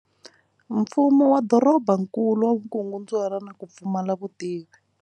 Mfumo wa dorobankulu wa vukungundzwana na ku pfumala vutivi.